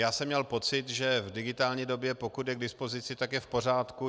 Já jsem měl pocit, že v digitální době, pokud je k dispozici, tak je v pořádku.